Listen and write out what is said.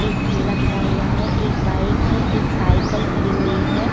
एक ठेला खड़ा हुआ है। एक बाइक है। एक साईकल खड़ी हुई है।